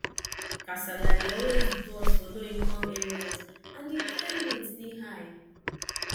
kasala dey always burst for low income areas and di crime rate dey high